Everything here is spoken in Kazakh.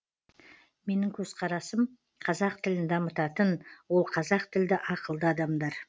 менің көзқарасым қазақ тілін дамытатын ол қазақ тілді ақылды адамдар